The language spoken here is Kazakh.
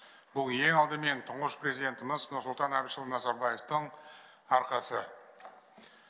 бұл ең алдымен тұңғыш президентіміз нұрсұлтан әбішұлы назарбаевтың арқасы